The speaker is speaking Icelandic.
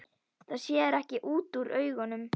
Það sér ekki útúr augum.